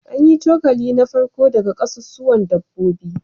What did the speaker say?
An yi cokali na farko daga kasusuwan dabbobi